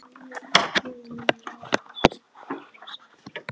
Samstarfsfólk okkar á staðnum var frá Suður-Afríku.